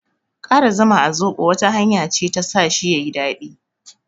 Ƙara zuma a zoɓo wata hanya ce ta sa shi yayi daɗi.